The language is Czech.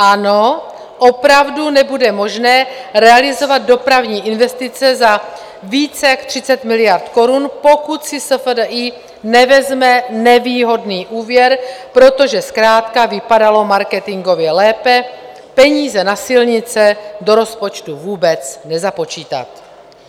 Ano, opravdu nebude možné realizovat dopravní investice za více jak 30 miliard korun, pokud si SFDI nevezme nevýhodný úvěr, protože zkrátka vypadalo marketingově lépe peníze na silnice do rozpočtu vůbec nezapočítat.